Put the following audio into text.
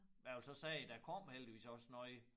Men jeg vil så sige der kom heldigvis også noget